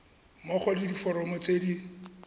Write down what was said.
mmogo le diforomo tse di